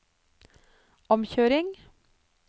omkjøring